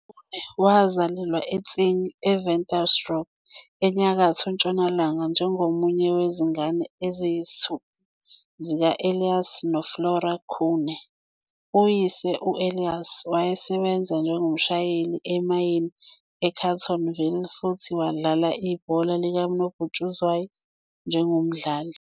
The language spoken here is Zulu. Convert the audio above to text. UKhune wazalelwa eTsing, I-Ventersdorp ENyakatho Ntshonalanga njengomunye wezingane eziyisithupha zika-Elias noFlora Khune. Uyise u-Elias, wayesebenza njengomshayeli emayini Carletonville futhi wadlala ibhola likanobhutshuzwayo njengomdlali.